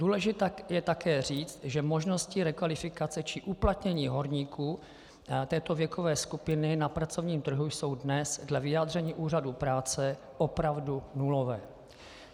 Důležité je také říct, že možnosti rekvalifikace či uplatnění horníků této věkové skupiny na pracovním trhu jsou dnes dle vyjádření úřadů práce opravdu nulové.